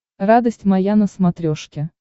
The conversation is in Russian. радость моя на смотрешке